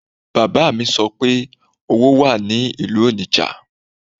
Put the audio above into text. Bàbá mi sọ pé owó wà ní ìlú Onitsha